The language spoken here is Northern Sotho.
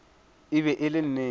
e be e le nnete